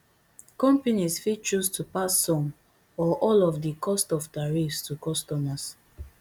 companies fit choose to pass some or all of di cost of tariffs to customers